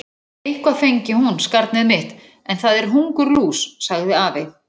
Eitthvað fengi hún, skarnið mitt, en það er hungurlús, sagði afi.